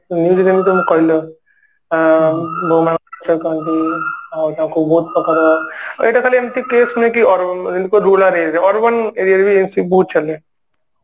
news ଯେମିତିତମେ କହିଲ ଅ ଆଉ ତାକୁ ବହୁତ ପ୍ରକାର ଏଇଟା ଖାଲି ଏମତି case ନୁହଁ କି ଯେମତି rural ହେଇଯିବ urban aria ରେ ବି ବହୁତ ଚାଲେ